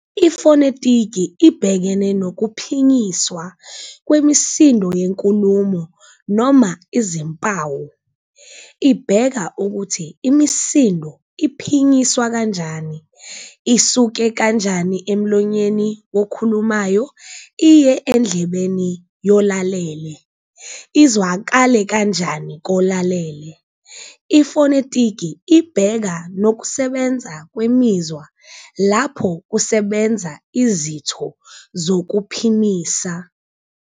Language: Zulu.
Ifonetiki ibhekene nokuphinyiswa kwemisindo yenkulumo noma izimpawu- ibheka ukuthi imisindo iphinyiswa kanjani, isuke kanjani emlonyeni wokhulumayo iye endlebeni yolalele, izwakale kanjani kolalele, ifonetiki ibheka nokusebenza kwemizwa lapho kusebenza izitho zokuphimisa.